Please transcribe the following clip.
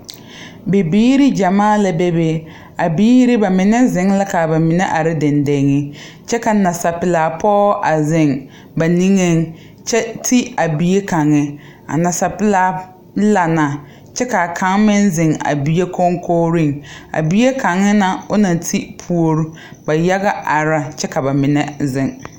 Bibiiri gyamaa la bebe a biiri ba mine ziŋ la ka ba mine are dendeŋe kyɛ ka nasapelaa pɔgɔ a ziŋ ba niŋeŋ kyɛ ti a bie kaŋa a nasapelaa la na kyɛ ka a kaŋ meŋ zeŋ bie koŋkogreŋ a bie kaŋa na o naŋ ti puori ba yaga are na kyɛ ka bamine zeŋ